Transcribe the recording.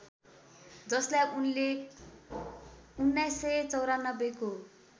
जसलाई उनले १९९४ को